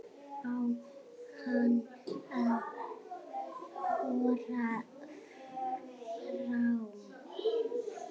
Á hann að þora fram?